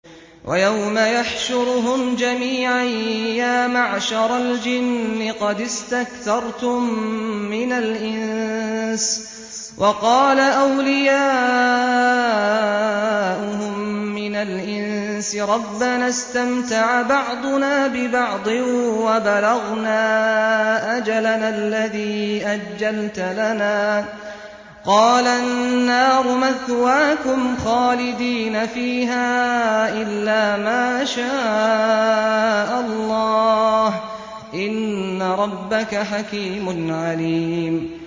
وَيَوْمَ يَحْشُرُهُمْ جَمِيعًا يَا مَعْشَرَ الْجِنِّ قَدِ اسْتَكْثَرْتُم مِّنَ الْإِنسِ ۖ وَقَالَ أَوْلِيَاؤُهُم مِّنَ الْإِنسِ رَبَّنَا اسْتَمْتَعَ بَعْضُنَا بِبَعْضٍ وَبَلَغْنَا أَجَلَنَا الَّذِي أَجَّلْتَ لَنَا ۚ قَالَ النَّارُ مَثْوَاكُمْ خَالِدِينَ فِيهَا إِلَّا مَا شَاءَ اللَّهُ ۗ إِنَّ رَبَّكَ حَكِيمٌ عَلِيمٌ